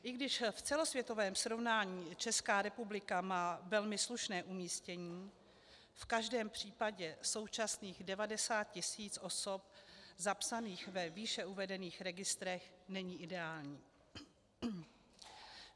I když v celosvětovém srovnání Česká republika má velmi slušné umístění, v každém případě současných 90 tisíc osob zapsaných ve výše uvedených registrech není ideální.